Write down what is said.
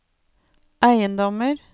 eiendommer